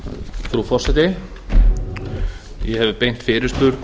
frú forseti ég hef beint fyrirspurn